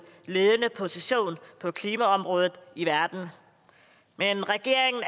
ledende position på klimaområdet i verden men regeringen